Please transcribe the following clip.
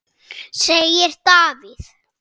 segir Davíð.